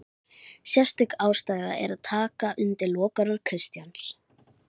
Sérstök ástæða er til að taka undir lokaorð Kristjáns